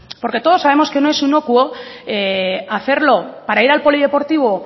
porque todos sabemos que no es inocuo hacerlo para ir al polideportivo